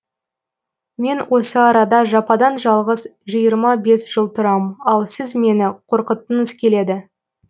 мен осы арада жападан жалғыз жиырма бес жыл тұрам ал сіз мені қорқытқыңыз келеді